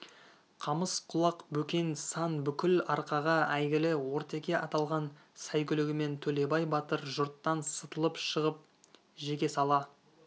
қамыс құлақ бөкен сан бүкіл арқаға әйгілі ортеке аталған сәйгүлігімен төлебай батыр жұрттан сытылып шығып жеке сала